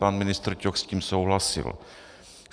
Pan ministr Ťok s tím souhlasil.